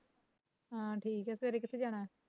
ਹਾਂ ਠੀਕ ਆ ਸਵੇਰੇ ਕਿੱਥੇ ਜਾਣਾ